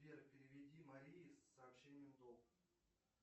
сбер переведи марии с сообщением долг